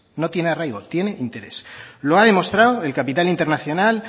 no tiene arraigo tiene interés lo ha demostrado el capital internacional